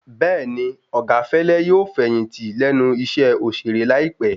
Bẹ́ẹ̀ni, Ọ̀gá Fẹ́lẹ́ yóò fẹ̀yìntì lẹ́nu iṣẹ́ òṣèré láìpé